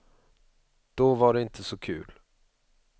Då var det inte så kul.